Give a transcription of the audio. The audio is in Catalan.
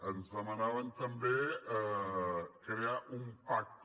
ens demanaven també crear un pacte